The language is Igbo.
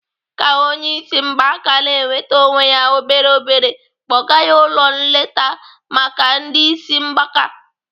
Ka onye isi mgbaka na-enwete onwe ya obere obere kpọga ya ụlọ nleta maka ndị isi mgbaka.